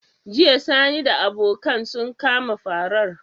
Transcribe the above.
Jiya sani da abokan su kama farar?